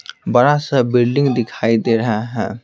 बड़ा सा बिल्डिंग दिखाई दे रहा है ।